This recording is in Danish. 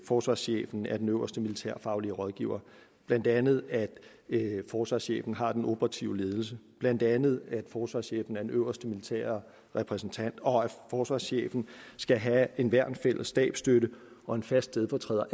forsvarschefen er den øverste militærfaglige rådgiver blandt andet at forsvarschefen har den operative ledelse blandt andet at forsvarschefen er den øverste militære repræsentant og at forsvarschefen skal have en værnsfælles stabsstøtte og en fast stedfortræder